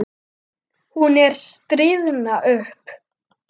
Hún er að stirðna upp.